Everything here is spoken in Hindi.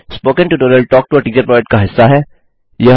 spoken tutorial talk to a teacher project का हिस्सा है